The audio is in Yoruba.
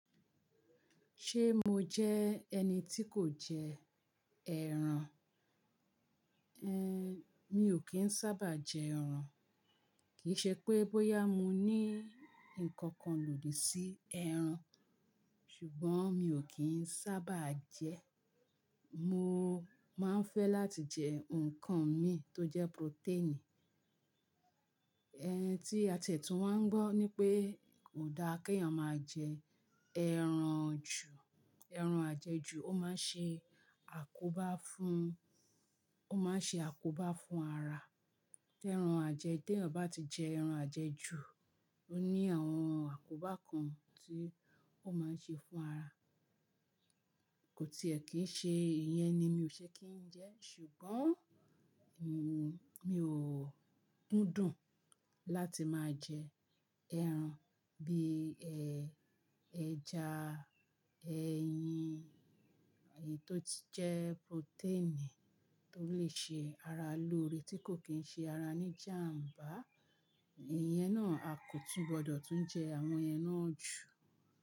Ṣé mo jẹ́ ẹni tí kò jẹ ẹran? Ehn, mi ò kí ń sábà jẹ ẹran. Kìí ṣe pè bóyá mo ní nǹkan kan lòdì sí ẹran, ṣùgbọ́n mi ò kí ń sábà jẹ ẹ́. Mo máa ń fẹ́ láti jẹ nǹkan mi tó jẹ́ protein. Ẹn, tí àtẹ̀tún wa ń gbọ́ ní pé kò dáa kí èyàn máa jẹ ẹran jù, ẹran ajẹjù ó máa ń ṣe àkóbá fún, ó máa ń ṣe àkóbá fún ara. Tẹran ajẹ-- tèèyàn bá ti jẹ ẹran ajẹ́ jù, ó ní àwọn àkóbá kan tí ó máa ń ṣe fún ara. Kò tiẹ̀ kí ń ṣe, ìyẹn ni mi ò ṣe kí ń jẹ ẹ́. Ṣùgbọ́n mo, mi ò kúndùn láti máa jẹ ẹran bí i, ehn, ẹja, eyin, èyí tó ti jẹ́ protein tó lè ṣe ara lóore tí kò kín ṣe ara ní jàmbá. Ìyẹn náà a kò tún gbọdọ̀ tún jẹ àwọn yẹn náà jù.